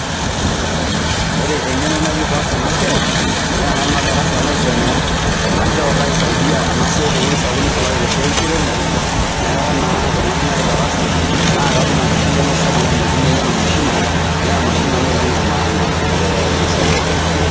Ore eng'eno nayieu paas ena siai naa enalo naa [cvs]darasa alo aisumia amu keeku kaisaidia ena siai tewueji sapuk, nisulaki te esiai enkiremore neeku naa tenalo nai darasa naa katum enkarriyiano sapuk naidim aitumiyaie ena mashini naa emashini ena oleng' e maana tesiai olchambai.